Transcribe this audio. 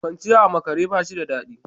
Kwanciya a makare ba shi da dadi.